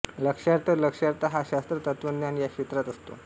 लक्ष्यार्थ लक्ष्यार्थ हा शास्त्र तत्वज्ञान या क्षेत्रात असतो